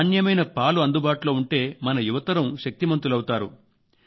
నాణ్యమైన పాలు అందుబాటులో ఉంటే మన యువతరం శక్తిమంతులవుతారు